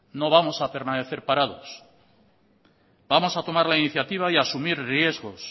no vamos a permanecer parados vamos a tomar la iniciativa y a asumir riesgos